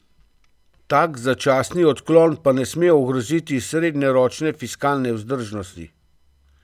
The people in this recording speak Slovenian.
Tak začasni odklon pa ne sme ogroziti srednjeročne fiskalne vzdržnosti.